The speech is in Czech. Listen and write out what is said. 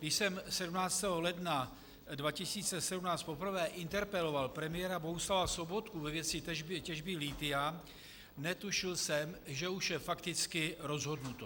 Když jsem 17. ledna 2017 poprvé interpeloval premiéra Bohuslava Sobotku ve věci těžby lithia, netušil jsem, že už je fakticky rozhodnuto.